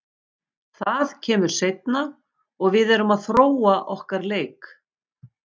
Það kemur seinna og við erum að þróa okkar leik.